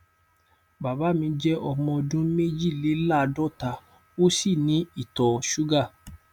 bàbá mi jẹ ọmọ ọdún méjìléláàádọta ó sì ní ìtọ ṣúgà